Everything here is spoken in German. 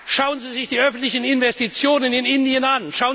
an! Schauen Sie sich die öffentlichen Investitionen in Indien